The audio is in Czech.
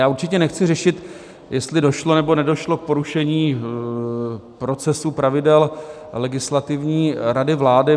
Já určitě nechci řešit, jestli došlo nebo nedošlo k porušení procesů, pravidel Legislativní rady vlády.